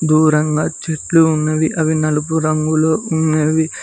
దూరంగా చెట్లు ఉన్నవి అవి నలుపు రంగులో ఉన్నవి.